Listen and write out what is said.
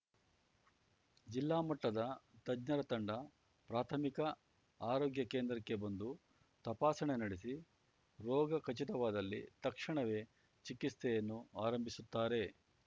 ಜಿಲ್ಲಾ ಮಟ್ಟದ ತಜ್ಞರ ತಂಡ ಪ್ರಾಥಮಿಕ ಆರೋಗ್ಯ ಕೇಂದ್ರಕ್ಕೆ ಬಂದು ತಪಾಸಣೆ ನಡೆಸಿ ರೋಗ ಖಚಿತವಾದಲ್ಲಿ ತಕ್ಷಣವೇ ಚಿಕಿತ್ಸೆಯನ್ನು ಆರಂಭಿಸುತ್ತಾರೆ